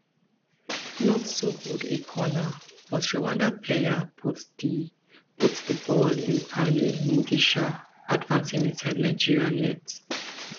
not so good a corner but rwanda player put di put di ball in paly mugisha advancing inside nigeria net